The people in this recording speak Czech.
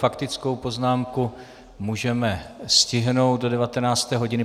Faktickou poznámku můžeme stihnout do 19. hodiny.